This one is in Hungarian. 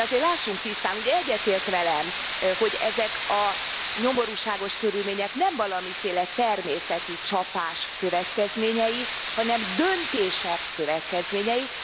De azért lássunk tisztán, ugye egyetért velem, hogy ezek a nyomorúságos körülmények nem valamiféle természeti csapás következményei, hanem döntések következményei.